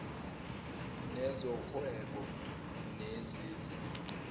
wezo whebo nezezi